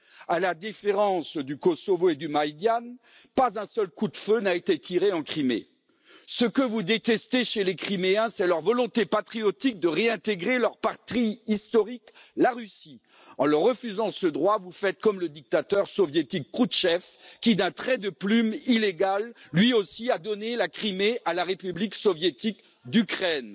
À la différence du Kosovo et du Maïdan, pas un seul coup de feu n'a été tiré en Crimée. Ce que vous détestez chez les Criméens, c'est leur volonté patriotique de réintégrer leur patrie historique, la Russie. En leur refusant ce droit, vous faites comme le dictateur soviétique Khrouchtchev qui, d'un trait de plume illégal, lui aussi, a donné la Crimée à la République soviétique d'Ukraine.